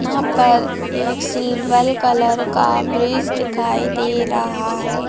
यहां पर एक सिल्वर कलर का ब्रिज दिखाई दे रहा है।